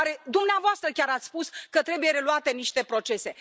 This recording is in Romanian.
Dumneavoastră chiar ați spus că trebuie reluate niște procese.